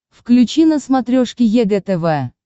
включи на смотрешке егэ тв